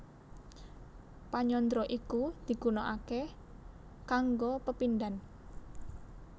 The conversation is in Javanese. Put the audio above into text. Panyandra iku digunaaké kanggo pepindhan